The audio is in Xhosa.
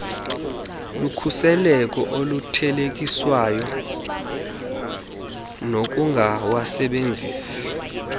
lukhuseleko oluthelekiswa nokungawasebenzisi